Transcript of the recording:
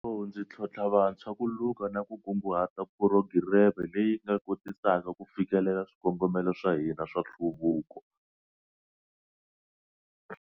Hi nkarhi lowu, ndzi tlhontlha vantshwa ku luka na ku kunguhata phurogireme leyi nga kotisaka ku fikelela swikongomelo swa hina swa nhluvuko.